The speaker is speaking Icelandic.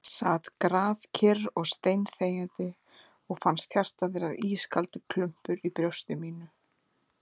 Sat grafkyrr og steinþegjandi og fannst hjartað vera ískaldur klumpur í brjósti mínu ...